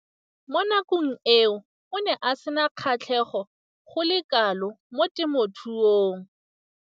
Mo nakong eo o ne a sena kgatlhego go le kalo mo temothuong.